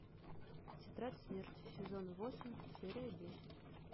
тетрадь смерти сезон восемь серия десять